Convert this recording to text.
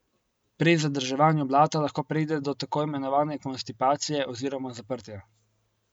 Pri zadrževanju blata lahko pride do tako imenovane konstipacije oziroma zaprtja.